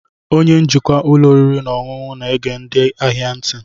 Onye njikwa ụlọ oriri na ọṅụṅụ na-ege ndị ahịa ntị.